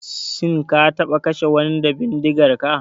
Shin ka taɓa kashe wani da bindigarka?